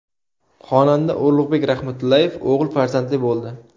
Xonanda Ulug‘bek Rahmatullayev o‘g‘il farzandli bo‘ldi.